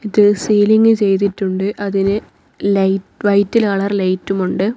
ഇതിൽ സീലിംഗ് ചെയ്തിട്ടുണ്ട് അതി്ന് ലൈ വൈറ്റ് കളർ ലൈറ്റും ഉണ്ട്.